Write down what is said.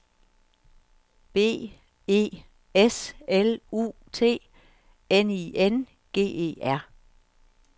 B E S L U T N I N G E R